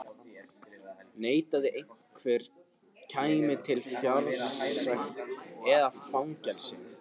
Neitaði einhver, kæmi til fjársekt eða fangelsi.